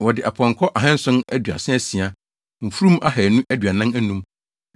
Wɔde apɔnkɔ ahanson aduasa asia (736), mfurum ahannu aduanan anum (245),